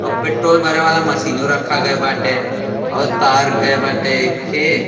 और पेट्रोल भरे वाला मशीनो रखा गया बाटे और तार गये बाटे एकथे --